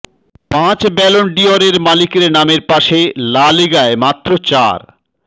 পাঁচ ব্যালন ডি অরের মালিকের নামের পাশে লা লিগায় মাত্র চার